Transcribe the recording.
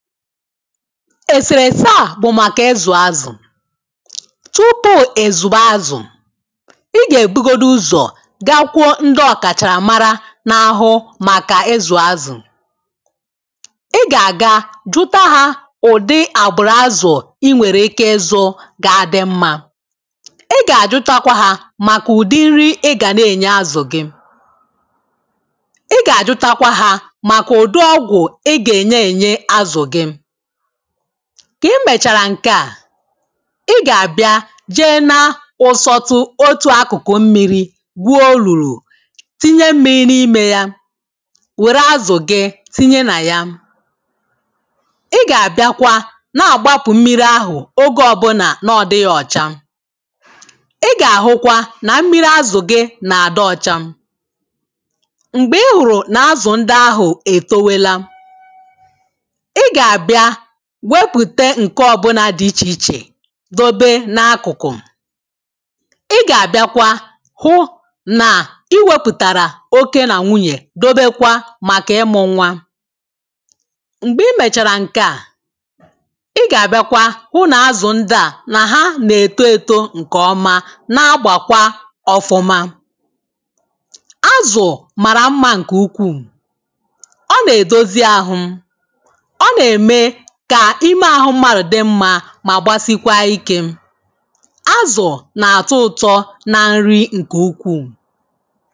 èsèrèsè a bụ̀ màkà ịzụ̀ azụ̀ tụpụ èzùgbo azụ̀ ị gà-èbugodu ụzọ̀ gakwuo ndịọ̇ kàchàrà mara n’ahụ màkà ịzụ̀ azụ̀ ị gà-àga jụta ha ụ̀dị àgbụ̀rụ̀ azụ̀ ị nwèrè ike izu gà adị mmȧ ị gà-àjụta kwa ha màkà ụ̀dị nri ị gà na-ènye azụ̀ gị gị mbèchàrà nke à i gà-àbịa jee na ụsọro otu akụ̀kụ̀ mmiri gwuo lùrù tinye mmiri n’imė ya wère azụ̀ gị tinye nà ya i gà-àbịakwa na-àgbapụ̀ mmiri ahụ̀ ogė ọbụlà n’ọdịghị̇ ọ̀cha ị gà-àhụkwa nà mmiri azụ̀ gị nà-àdụ ọ̀cha m̀gbè i hụ̀rụ̀ nà azụ̀ ndị ahụ̀ ètowela wepùte ǹke ọbụna dị ichè ichè dobe n’akụkụ̀ ị gà-àbịakwa hụ nà i wėpùtàrà oke nà nwunyè dobekwa màkà ịmụ nwa m̀gbè i mèchàrà ǹke à ị gà-àbịakwa hụ nà azụ̀ ndị à nà ha nà-èto èto ǹkè ọma nà-agbàkwa ọfụma azụ̀ màrà mma ǹkè ukwuù ọ nà-èdozi ahụ̇ mà gbasikwa ikė azụ̀ na-àtọ ụ̀tọ nà nri ǹkè ukwuù